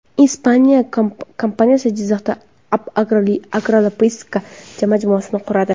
Ispaniya kompaniyasi Jizzaxda agrologistika majmuasini quradi.